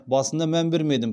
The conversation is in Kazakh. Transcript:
басында мән бермедім